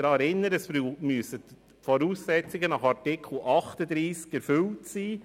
Ich erinnere Sie daran, dass die Voraussetzungen nach Artikel 38 erfüllt sein müssen.